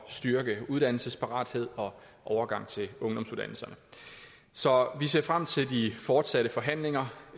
styrke uddannelsesparatheden og overgangen til ungdomsuddannelserne så vi ser frem til de fortsatte forhandlinger